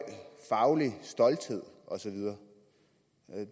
faglig stolthed og så videre